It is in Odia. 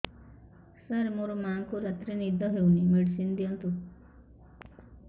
ସାର ମୋର ମାଆଙ୍କୁ ରାତିରେ ନିଦ ହଉନି ମେଡିସିନ ଦିଅନ୍ତୁ